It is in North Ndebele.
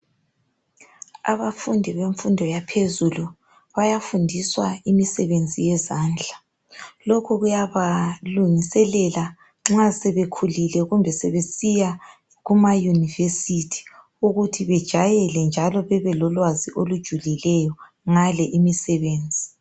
Abafundi bemfundo yaphezulu bayafundiswa imisebenzi yezandla. Lokhu kuyabalungiselela nxa sebekhulile kumbe sebesiya kuma university, ukuthi bejayele njalo bebelolwazi olujulileyo ngale imisebenzi.